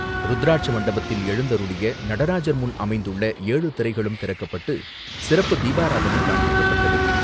ருத்ராட்ச மண்டபத்தில் எழுந்தருளிய நடராஜர் முன் அமைந்துள்ள ஏழு திரைகளும் திறக்கப்பட்டு, சிறப்பு தீபாராதனை காண்பிக்கப்பட்டது.